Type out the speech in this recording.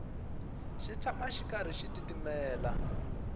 xi tshama xi karhi xi titimela